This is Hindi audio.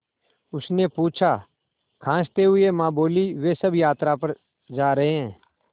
उसने पूछा खाँसते हुए माँ बोलीं वे सब यात्रा पर जा रहे हैं